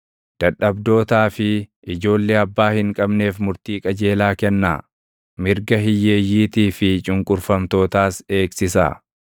Dadhabdootaa fi ijoollee abbaa hin qabneef murtii qajeelaa kennaa; mirga hiyyeeyyiitii fi cunqurfamtootaas eegsisaa.